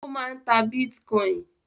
Ó máà ń ta bitcoin.